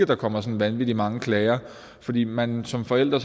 der kommer vanvittig mange klager fordi man som forælder